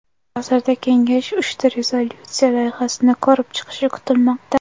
Hozirda Kengash uchta rezolyutsiya loyihasini ko‘rib chiqishi kutilmoqda.